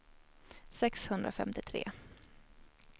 sexhundrafemtiotre